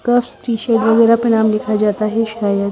cups T shirt वगेरा पेराऊ दिखा जाता है सायद--